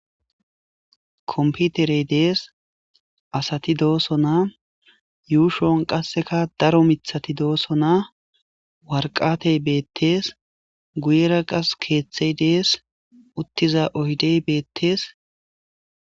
komputerey dees asati dooso naa yuushon qasseka daro mithati dooso naa warqatey beettees guyera qas keeththey dees uttiza oydey beettees